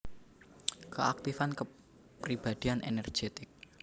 Keaktifan kepribadian energetik